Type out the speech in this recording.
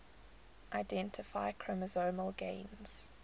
identify chromosomal gains